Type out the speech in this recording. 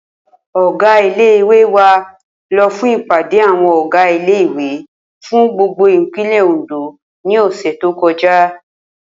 Ò̩gá ilé ìwé wa lo̩ fún ìpàdé àwo̩n ò̩gá ilé ìwé fún gbogbo ìpínlè̩ Òǹdó ní ò̩sè̩ tó ko̩já